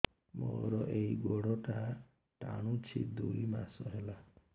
ମୋର ଏଇ ଗୋଡ଼ଟା ଟାଣୁଛି ଦୁଇ ମାସ ହେଲା